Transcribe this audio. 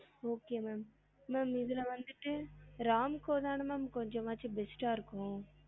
Okay ma'am ma'am இதுல வந்துட்டு Ramco தான ma'am கொஞ்சமாச்சும் best ஆஹ் இருக்கும்